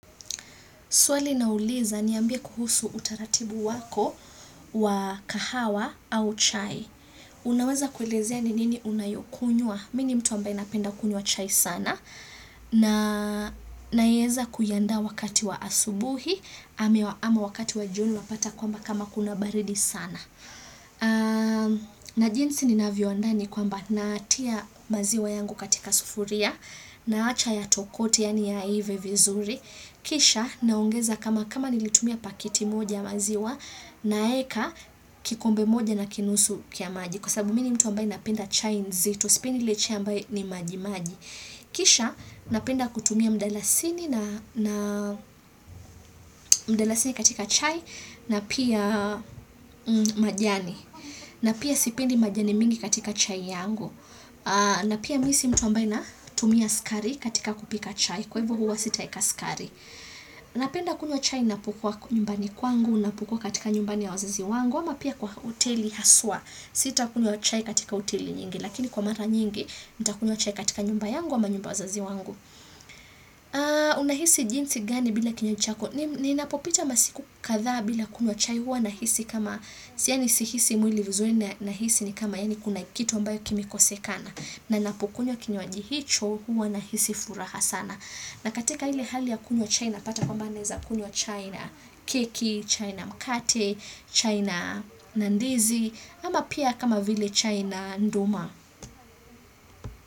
Swali nauliza niambie kuhusu utaratibu wako wa kahawa au chai. Unaweza kuelezea ni nini unayokunywa. Mi ni mtu ambaye napenda kunywa chai sana. Na naeza kuiandaa wakati wa asubuhi. Ama wakati wa jioni unapata kwamba kama kuna baridi sana. Na jinsi ninavyoandaa ni kwamba natia maziwa yangu katika sufuria. Naacha yatokote yaani yaive vizuri. Kisha naongeza kama kama nilitumia paketi moja maziwa naeka kikombe moja na kinusu kya maji kwa sababu mi ni mtu ambaye napenda chai nzito, sipendi ile chai ambaye ni maji maji Kisha napenda kutumia mdalasini katika chai na pia majani na pia sipendi majani mingi katika chai yangu na pia mi si mtu ambaye natumia sukari katika kupika chai. Kwa hivyo huwa sitaweka sukari. Napenda kunywa chai napokuwa nyumbani kwangu, napokua katika nyumbani ya wazazi wangu ama pia kwa hoteli haswa, sita kunywa chai katika hoteli nyingi lakini kwa mara nyingi, nitakunywa chai katika nyumba yangu ama nyumba ya wazazi wangu Unahisi jinsi gani bila kinywa chako? Ninapopita masiku kadhaa bila kunywa chai huwa nahisi kama yaani sihisi mwili vizuri nahisi ni kama yaani kuna kitu ambayo kimekosekana. Na napokunywa kinywaji hicho huwa nahisi furaha sana. Na katika ile hali ya kunywa chai napata kwamba naweza kunywa chai na keki, chai na mkate, chai na ndizi ama pia kama vile chai na nduma.